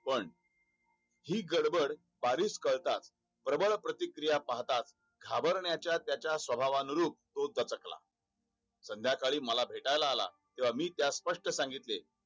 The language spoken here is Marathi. पण ही गडबड बारीक कळतातच प्रभळ प्रतिकिर्या पाहताच घाबरण्याच्या त्याच्या सभावानरुप तो डचकला संध्याकाळी मला भेटायला आला तेव्हा मी त्यास स्पष्ट सांगितले